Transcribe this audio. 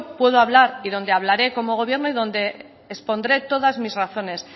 puedo hablar y donde hablaré como gobierno y donde expondré todas mis razones